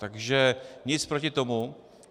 Takže nic proti tomu.